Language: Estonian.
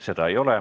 Seda ei ole.